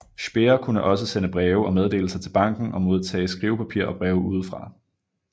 Speer kunne også sende breve og meddelelser til banken og modtage skrivepapir og breve udefra